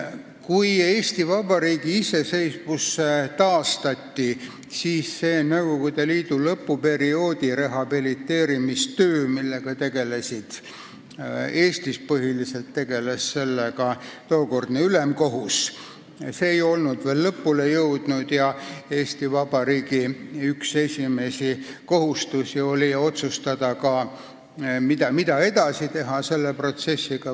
Kui Eesti Vabariigi iseseisvus taastati, siis see Nõukogude Liidu lõpuperioodi rehabiliteerimistöö, millega tegeles Eestis põhiliselt toonane ülemkohus, ei olnud veel lõpule jõudnud ja üks Eesti Vabariigi esimesi ülesandeid oli otsustada, mida selle protsessiga edasi teha.